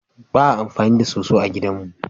Ba a amfani da soso a gidan mu.